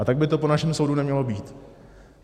A tak by to po našem soudu nemělo být.